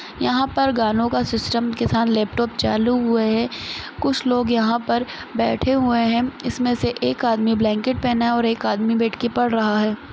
यहाँ पर गानों के सिस्टम के साथ लेपटॉप चालू हुआ है कुछ लोग यहाँ पर बैठे हुए है इसमें से एक आदमी ब्लैंकेट पेहना है और एक आदमी बैठ के पढ़ रहा हैं।